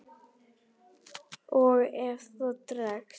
Og ef það dregst.